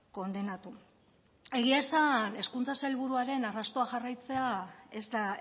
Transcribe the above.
kondenatu egia esan hezkuntza sailburuaren arrastoa jarraitzea ez da